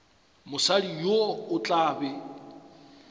mosadi yo o tla be